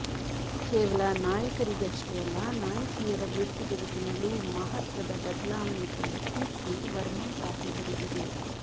ಕೇವಲ ನಾಯಕರಿಗಷ್ಟೇ ಅಲ್ಲ ನಾಯಕಿಯರ ವೃತ್ತಿಬದುಕಿನಲ್ಲೂ ಮಹತ್ವದ ಬದಲಾವಣೆ ತಂದ ಕೀರ್ತಿ ವರ್ಮಾ ಸಾಹೇಬರಿಗಿದೆ